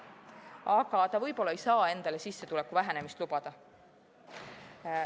Aga ta võib-olla ei saa endale sissetuleku vähenemist lubada.